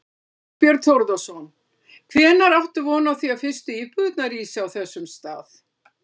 Þorbjörn Þórðarson: Hvenær áttu von á því að fyrstu íbúðir rísi á þessum stað?